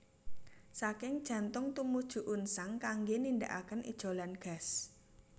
Saking jantung tumuju unsang kanggé nindakaken ijolan gas